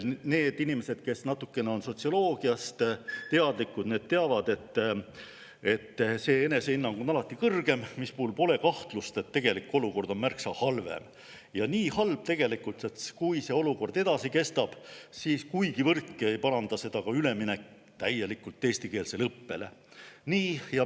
Need inimesed, kes on natukene sotsioloogiast teadlikud, teavad, et enesehinnang on alati kõrgem, mistõttu pole kahtlust, et tegelik olukord on märksa halvem ja tegelikult nii halb, et kui see olukord edasi kestab, siis kuigivõrdki ei paranda seda ka üleminek täielikult eestikeelsele õppele.